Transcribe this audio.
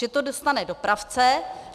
Že to dostane dopravce.